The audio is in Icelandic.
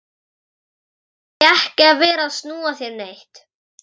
Þá þarf ég ekki að vera að snúa þér neitt.